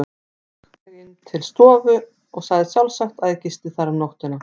Hún rak mig til stofu og sagði sjálfsagt, að ég gisti þar um nóttina.